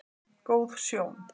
Góð sjón